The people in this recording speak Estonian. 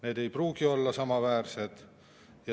Need ei pruugi olla samaväärsed.